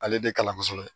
Ale de kalan kosɛbɛ